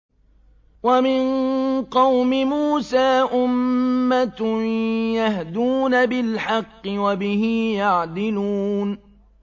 وَمِن قَوْمِ مُوسَىٰ أُمَّةٌ يَهْدُونَ بِالْحَقِّ وَبِهِ يَعْدِلُونَ